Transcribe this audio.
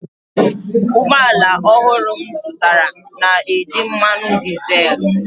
ụgbọ ala ọhụrụ m zụtara na-eji mmanụ dizel